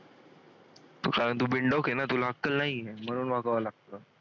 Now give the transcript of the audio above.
तू बिनडोक हे ना तुला अक्कल नाही म्हणून वागावं लागतं.